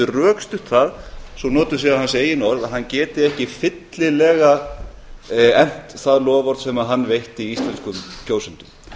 rökstutt það svo notuð séu hans eigin orð að hann geti ekki fyllilega efnt það loforð sem hann veitti íslenskum kjósendum